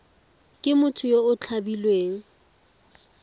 ke motho yo o tshabileng